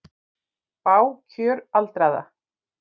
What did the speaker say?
Bág kjör aldraðra